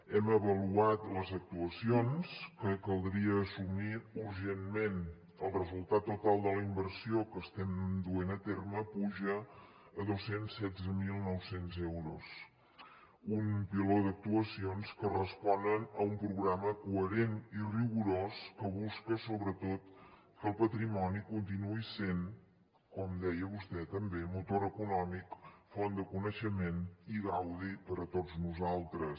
hem avaluat les actuacions que caldria assumir urgentment el resultat total de la inversió que estem duent a terme puja a dos cents i setze mil nou cents euros un piló d’actuacions que responen a un programa coherent i rigorós que busca sobretot que el patrimoni continuï sent com deia vostè també motor econòmic font de coneixement i gaudi per a tots nosaltres